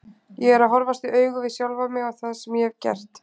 Ég er að horfast í augu við sjálfan mig og það sem ég hef gert.